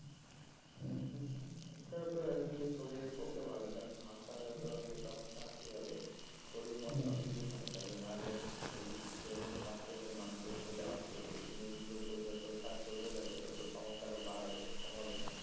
এটাতো একদিকে শরীর এর পক্ষে ভাল কারণ হাসা যত হবে যত হাসাহাসি হবে শরীর মন সবদিকই ভাল থাকবে না হলে এইযে depression frustration মানুষের চলে আসছে এই জিনিসগুলো যত চলতে থাকবে তত সমস্যা আরও বাড়াবে কমাবে না